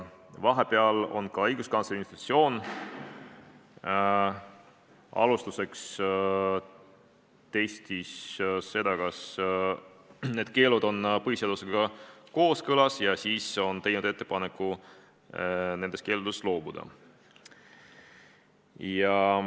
Vahepeal on ka õiguskantsleri institutsioon testinud seda, kas need keelud on põhiseadusega kooskõlas, ja teinud ettepaneku nendest keeldudest loobuda.